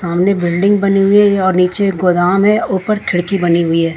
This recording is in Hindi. सामने बिल्डिंग बनी हुई है और नीचे गोदाम है ऊपर खिड़की बनी हुई है।